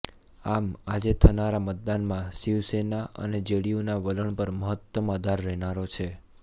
આમ આજે થનારા મતદાનમાં શિવસેના અને જેડીયુના વલણ પર મહત્તમ આધાર રહેનારો છે